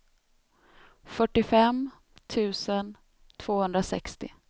fyrtiofem tusen tvåhundrasextio